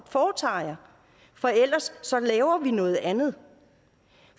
foretager jer for ellers laver vi noget andet